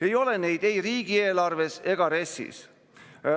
Ei ole neid ei riigieelarves ega RES‑is.